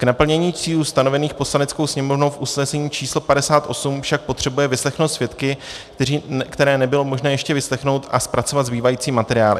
K naplnění cílů stanovených Poslaneckou sněmovnou v usnesení číslo 58 však potřebuje vyslechnout svědky, které nebylo možné ještě vyslechnout, a zpracovat zbývající materiály.